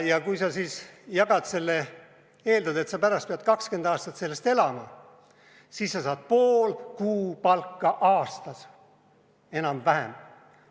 Kui sa siis eeldad, et sa pärast pead 20 aastat sellest elama, siis sa saad pool kuupalka aastas, enam-vähem.